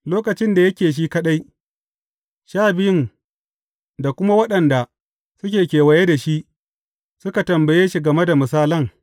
Lokacin da yake shi kaɗai, Sha Biyun, da kuma waɗanda suke kewaye da shi, suka tambaye shi game da misalan.